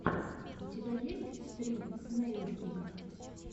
у тебя есть стрим снэйлкика